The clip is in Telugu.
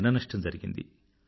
జన నష్టం జరిగింది